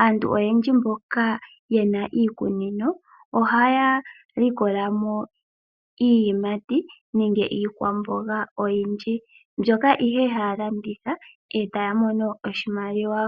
Aantu oyendji mboka yena iikunino ohaya likola mo iiyimati nenge iikwamboga oyindji, mbyoka ihe haa landitha etaa mono oshimaliwa.